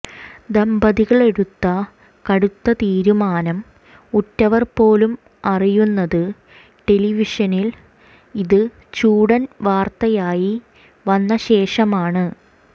ദമ്പതികളെടുത്ത കടുത്ത തീരുമാനം ഉറ്റവർ പോലും അറിയുന്നത് ടെലിഷനിൽ ഇത് ചൂടൻ വാർത്തയായി വന്ന ശേഷമാണ്